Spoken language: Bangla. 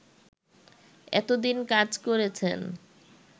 এতোদিন কাজ করেছেন